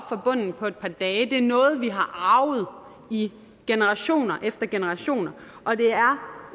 fra bunden på et par dage det er noget vi har arvet i generationer efter generationer og det